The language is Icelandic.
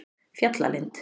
Fjallalind